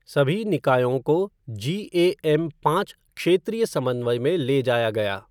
सभी निकायों को जीएएम पाँच क्षेत्रीय समन्वय में ले जाया गया।